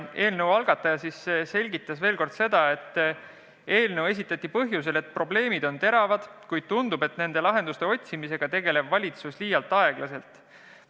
Eelnõu algataja selgitas veel kord, et eelnõu esitati põhjusel, et probleemid on teravad, kuid tundub, et nende lahenduste otsimisega tegeleb valitsus liialt aeglaselt.